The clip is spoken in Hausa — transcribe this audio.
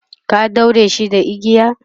ka ɗaure shi da igiya?